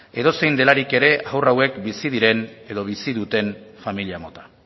edozein delarik ere haur hauek bizi diren edo bizi duten familia mota